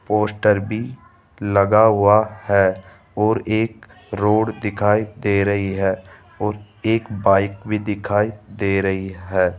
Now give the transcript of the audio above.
Poster भी लगा हुआ है और एक रोड दिखाई दे रही है और एक बाइक भी दिखाई दे रही है।